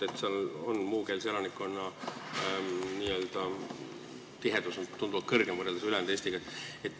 Ida-Virumaal on muukeelse elanikkonna n-ö tihedus tunduvalt suurem, võrreldes ülejäänud Eestiga.